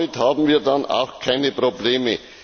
Damit haben wir dann auch keine Probleme.